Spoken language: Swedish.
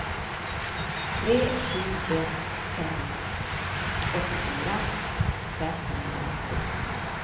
tre sju ett fem åttiofyra femhundrasextionio